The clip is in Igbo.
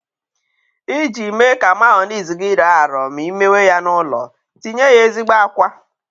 Iji mee ka meyoniz gi rọọ arọ ma ị mewe ya n'ụlọ, tinye ya ezigbo àkwá.